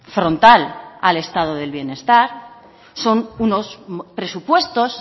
frontal al estado de bienestar son unos presupuestos